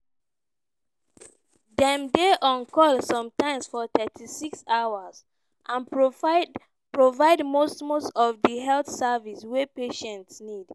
dem dey on call sometimes for 36 hours and provide most most of di health services wey patients need.